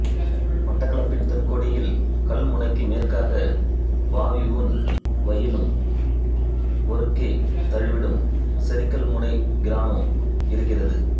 மட்டக்களப்பின் தென் கோடியில் கல்முனைக்கு மேற்காக வாவியும் வயலும் ஒருங்கே தழுவிடும் சொறிக்கல்முனைக் கிராமம் இருக்கிறது